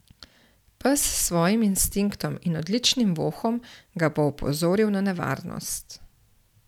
Pes s svojim instinktom in odličnim vohom ga bo opozoril na nevarnost.